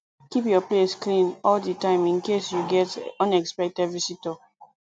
keep your place clean all di time in case you get unexpected visitor